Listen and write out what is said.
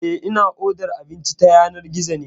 Eh, ina odar abinci ta yanar gizo ne.